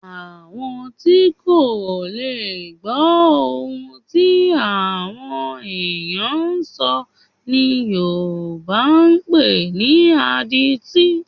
Àwọn tí kò ná gbọ́ ohun tí àwọn ènìyàn ń sọ̀ ni Yorùbá ń pè ní adití